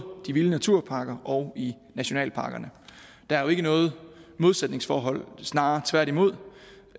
de vilde naturparker og i nationalparkerne der er jo ikke noget modsætningsforhold snarere tværtimod